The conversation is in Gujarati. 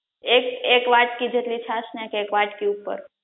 એક એક વાટ્કી જેટલી છાસ નાખ એક વાટકી ઉપર